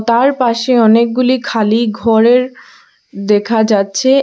তার পাশে অনেকগুলি খালি ঘরের দেখা যাচ্চে।